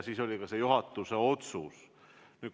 Siis oli see juhatuse otsus.